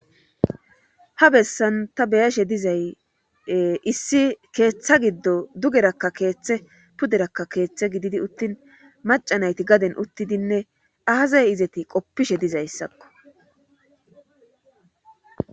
Ha bessan ta beyashe dizay issi keeththa giddo dugerakka keeththe puderakka keeththe gididi uttin macanayti gaden uttidinne aaza izeti qoppishe dizayssakko.